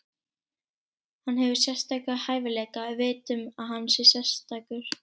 Hann hefur sérstaka hæfileika, við vitum að hann er sérstakur.